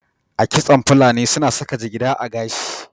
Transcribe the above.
A kitson fulani su na saka jigida a gashi